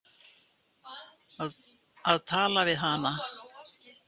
Að tala við hana!